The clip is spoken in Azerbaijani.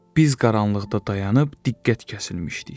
Biz qaranlıqda dayanıb diqqət kəsilmişdik.